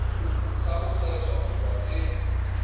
ga go kgethwa goba ge